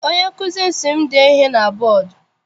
Onye nkụzi m si m dee ihe na bọdu.